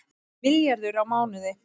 Milljarður á mánuði